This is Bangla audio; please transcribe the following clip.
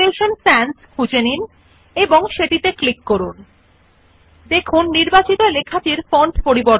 আপনি ফন্ট ড্রপ ডাউন মেনু খুলুন নাম অপশন বিভিন্ন ধরণের দেখুন You see a wide variety of font নামে options in the drop down menu